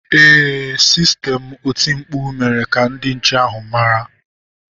Ee, sistemụ oti mkpu mere ka ndị nche ahụ mara.